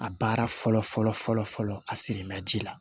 A baara fɔlɔ fɔlɔ fɔlɔ a siri ma ji la